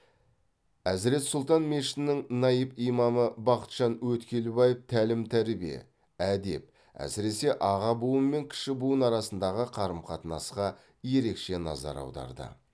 әзірет сұлтан мешітінің наиб имамы бақытжан өткелбаев тәлім тәрбие әдеп әсіресе аға буын мен кіші буын арасындағы қарым қатынасқа ерекше назар аударды